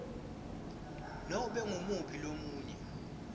nobe ngumuphi lomunye